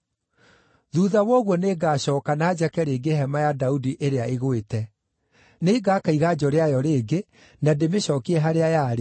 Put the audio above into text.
“ ‘Thuutha wa ũguo nĩngacooka, na njake rĩngĩ hema ya Daudi ĩrĩa ĩgwĩte. Nĩngaka iganjo rĩayo rĩngĩ, na ndĩmĩcookie harĩa yarĩ,